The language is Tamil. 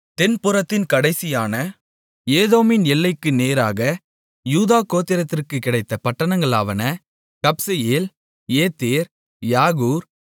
தென்புறத்தின் கடைசியான ஏதோமின் எல்லைக்கு நேராக யூதா கோத்திரத்திற்குக் கிடைத்த பட்டணங்களாவன கப்செயேல் ஏதேர் யாகூர்